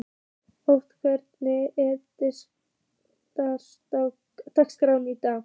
Otti, hvernig er dagskráin í dag?